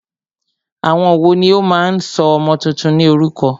Àwọn wòó ní o máà ń sọ ọmọ túntún ní orúkọ?